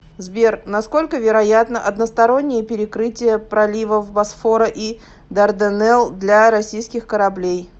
сбер насколько вероятно одностороннее перекрытие проливов босфора и дарданелл для российских кораблей